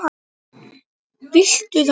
Viltu það?